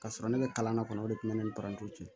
Ka sɔrɔ ne bɛ kalan na kɔni o de tun bɛ ne ni parantiw cɛ